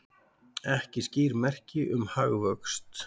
Ekki skýr merki um hagvöxt